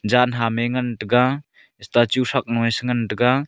jaan ham me ngantaga statue thak mo ee si ngantaga.